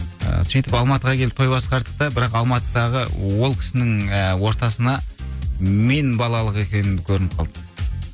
ыыы сөйтіп алматыға келіп той басқардық та бірақ алматыдағы ол кісінің ііі ортасына мен балалық екенім көрініп қалды